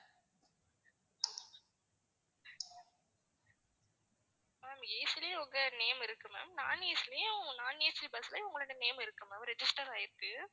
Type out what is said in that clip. ma'am AC ல உங்க name இருக்கு ma'am non AC லயும் non AC bus லயும் உங்களோட name இருக்கு ma'am register ஆயிருக்கு.